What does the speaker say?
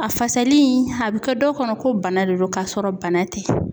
A fasali in ,a bi kɛ dɔw kɔnɔ ko bana de don ka sɔrɔ bana tɛ.